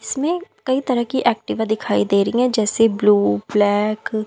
इसमें कही तरह की एक्टिवा दिखाई दे रही है जैसे ब्लू ब्लैक ।